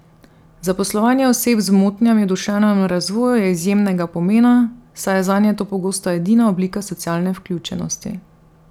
Zaposlovanje oseb z motnjami v duševnem razvoju je izjemnega pomena, saj je zanje to pogosto edina oblika socialne vključenosti.